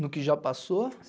No que já passou?